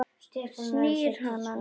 Snýr hana niður á hárinu.